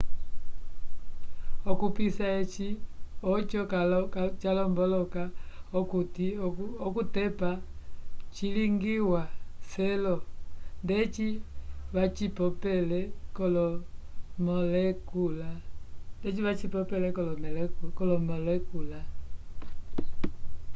okupissa eci oco calomboloka okuti okutepa cilingiwa selo ndeci vacipopele kolomolekula